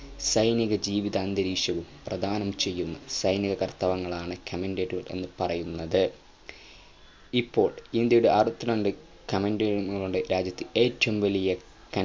സൈനീക ജീവിത അന്തരീക്ഷവും പ്രദാനം ചെയ്യുന്ന സൈനികർത്തവങ്ങളാണ് cantonment എന്നു പറയുന്നത് ഇപ്പോൾ ഇന്ത്യയുടെ അറുവത്തിരണ്ട് cantonment രാജ്യത്തെ ഏറ്റവും വലിയ